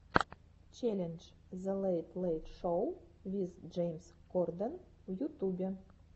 челлендж зе лэйт лэйт шоу виз джеймс корден в ютубе